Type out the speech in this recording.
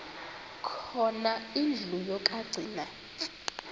khona indlu yokagcina